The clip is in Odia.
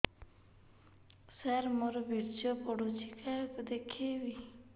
ସାର ମୋର ବୀର୍ଯ୍ୟ ପଢ଼ୁଛି କାହାକୁ ଦେଖେଇବି